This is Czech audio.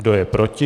Kdo je proti?